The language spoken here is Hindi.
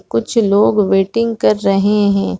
कुछ लोग वेटिंग कर रहै है।